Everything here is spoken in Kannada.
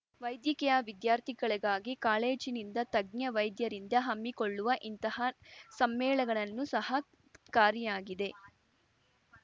ವೈದ್ಯಕೀಯ ವಿದ್ಯಾರ್ಥಿಗಳಿಗಾಗಿ ಕಾಲೇಜಿನಿಂದ ತಜ್ಞ ವೈದ್ಯರಿಂದ ಹಮ್ಮಿಕೊಳ್ಳುವ ಇಂತಹ ಸಮ್ಮೇಳಗಳನು ಸಹಕಾರಿಯಾಗಿದೆ